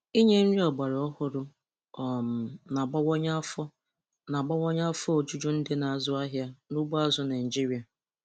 Inye nri ọgbaraọhụrụ um na-abawanye afọ na-abawanye afọ ojuju ndị na-azụ ahịa n'ugbo azụ̀ Naịjiria.